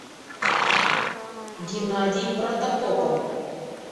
геннадий протопопов